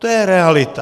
To je realita.